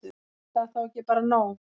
Er það þá ekki bara nóg?